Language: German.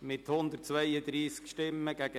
Gesamtabstimmung 1. Lesung